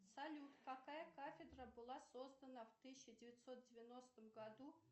салют какая кафедра была создана в тысяча девятьсот девяностом году